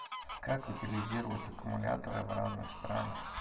как утилизируют аккумуляторы в разных странах